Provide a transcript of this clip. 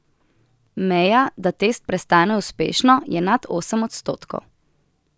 Meja, da test prestane uspešno, je nad osem odstotkov.